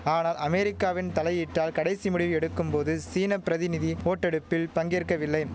ஆனால் அமெரிக்காவின் தலையீட்டால் கடைசி முடிவு எடுக்கும் போது சீன பிரதிநிதி ஓட்டெடுப்பில் பங்கேற்கவில்லை